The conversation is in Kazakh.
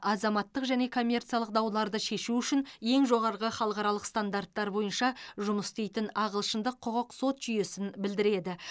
азаматтық және коммерциялық дауларды шешу үшін ең жоғарғы халықаралық стандарттар бойынша жұымс істейтін ағылшындық құқық сот жүйесін білдіреді